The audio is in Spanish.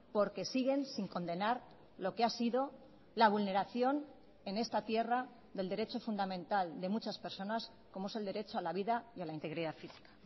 porque siguen sin condenar lo que ha sido la vulneración en esta tierra del derecho fundamental de muchas personas como es el derecho a la vida y a la integridad física